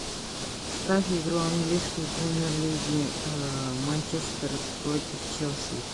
ставь игру английской премьер лиги манчестер против челси